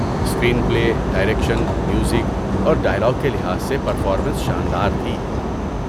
Screen پلے، direction, music اور dialogue کے لحاظ سے پرفارمنس شاندار تھی۔